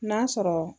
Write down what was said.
N'a sɔrɔ